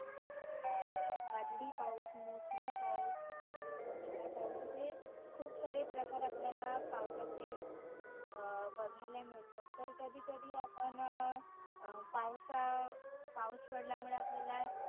वादळी पाऊस, मोसमी पाऊस, उन्हाळा पाऊस, असे खुप सारे प्रकार आपल्याला पावसाचे अं बघायला मिळतात. तर कधी कधी आपण अं पावसा पाऊस पडल्यामुळे आपल्याला